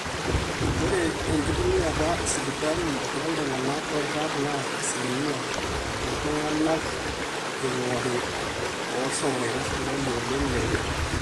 ore enkitumiata esipitali tooltung'anak oirag naa asilimia ooltung'anak eing'ori ooshomoita sipitali olo leitu eirag